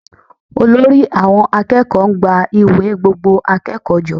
Olórí àwọn akẹ́kọ̀ọ́ ń gba ìwé gbogbo akẹ́kọ̀ọ́ jọ